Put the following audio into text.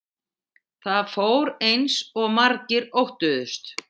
Það fór eins og margir óttuðust